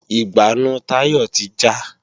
Ìgbánú Táyọ̀ ti já